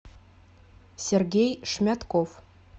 сергей шмятков